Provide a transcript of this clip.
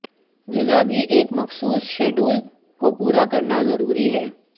غذا بھی ایک مخصوص شیڈول کو پورا کرنا ضروری ہے